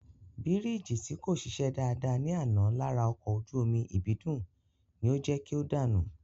Bírìjì tí kò ṣiṣẹ́ dáadáa ní àná lára ọkọ̀ ojú omi Ìbídùn ni ó jẹ́ kí o dànù